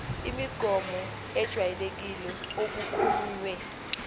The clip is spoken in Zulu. imigomo ejwayelekile okukhulunywe